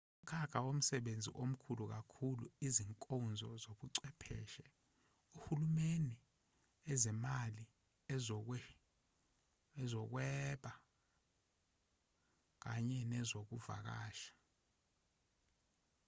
umkhakha womsebenzi omkhulu kakhulu izinkonzo zobuchwepheshe uhulumeni ezemali ezokwehweba kanye nezokuvakasha